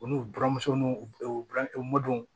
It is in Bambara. U n'u buramuso n'u u buran u mɔdon